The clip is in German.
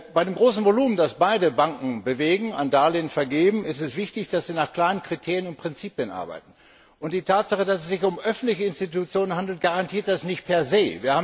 Bei dem großen Volumen, das beide Banken bewegen an Darlehen vergeben ist es wichtig, dass sie nach klaren Kriterien und Prinzipien arbeiten. Die Tatsache, dass es sich um öffentliche Institutionen handelt, garantiert das nicht per se